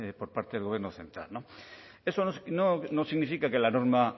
por parte del gobierno central eso no significa que la norma